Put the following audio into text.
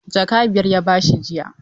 Jaka biyar ya ba shi jiya.